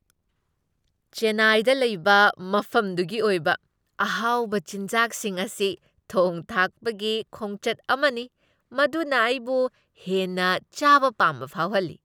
ꯆꯦꯟꯅꯥꯏꯗ ꯂꯩꯕ ꯃꯐꯝꯗꯨꯒꯤ ꯑꯣꯏꯕ ꯑꯍꯥꯎꯕ ꯆꯤꯟꯖꯥꯛꯁꯤꯡ ꯑꯁꯤ ꯊꯣꯡ ꯊꯥꯛꯄꯒꯤ ꯈꯣꯡꯆꯠ ꯑꯃꯅꯤ ꯃꯗꯨꯅ ꯑꯩꯕꯨ ꯍꯦꯟꯅ ꯆꯥꯕ ꯄꯥꯝꯕ ꯐꯥꯎꯍꯜꯂꯤ ꯫